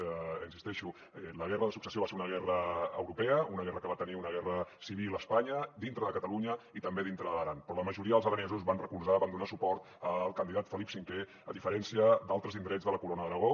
hi insisteixo la guerra de successió va ser una guerra europea una guerra que va tenir una guerra civil a espanya dintre de catalunya i també dintre de l’aran però la majoria dels aranesos van recolzar van donar suport al candidat felip v a diferència d’altres indrets de la corona d’aragó